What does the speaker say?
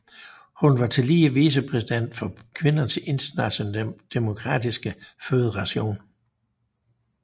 Hun var tillige vicepræsident for Kvindernes Internationale Demokratiske Føderation